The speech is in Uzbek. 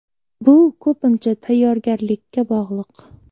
Bu ko‘pincha tayyorgarlikka bog‘liq.